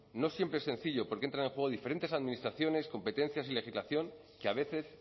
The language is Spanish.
no siempre es sencillo porque entran en juego diferentes administraciones competencias y legislación que a veces